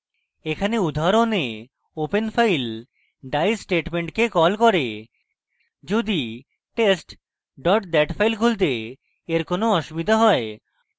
এখানে আমাদের উদাহরণে open file die স্টেটমেন্টকে কল করে যদি test dat file খুলতে এর কোনো অসুবিধা has